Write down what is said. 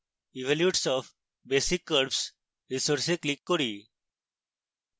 evolutes of basic curves resource এ click করি